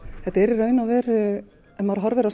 þetta er í raun og veru ef maður horfir á